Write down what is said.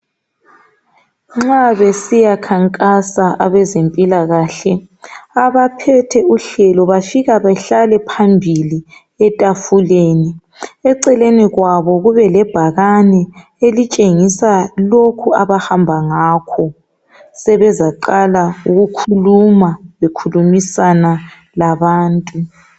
Nxa besiyakhankasa abezempilakahle. Abaphethe uhlelo bafika behlale phambili, etafuleni, eceleni kwabo kube lebhakani elitshengisa lokhu abahamba ngakho. Sebezaqala ukukhuluma bekhulumisana labantu.